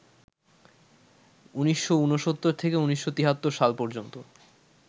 ১৯৬৯ থেকে ১৯৭৩ সাল পর্যন্ত